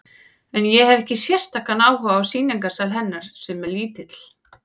En ég hefi ekki sérstakan áhuga á sýningarsal hennar, sem er lítill.